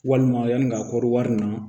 Walima yanni ka kɔɔri wari na